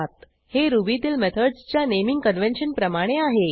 हे रुबीतील मेथडसच्या नेमिंग कन्व्हेन्शन प्रमाणे आहे